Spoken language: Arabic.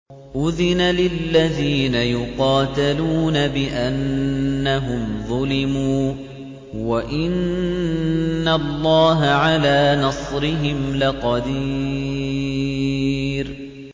أُذِنَ لِلَّذِينَ يُقَاتَلُونَ بِأَنَّهُمْ ظُلِمُوا ۚ وَإِنَّ اللَّهَ عَلَىٰ نَصْرِهِمْ لَقَدِيرٌ